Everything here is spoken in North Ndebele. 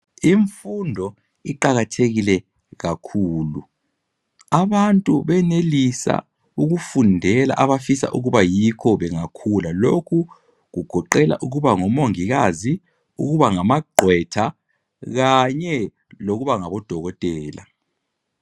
Imfundo iqakathekile kakhulu. Abantu benelisa ukufundela abafisa ukuba yikho bengakhula. Lokhu kugoqela ukuba ngumongikazi, ukuba ngamagqwetha kanye lokuba ngabodokotela.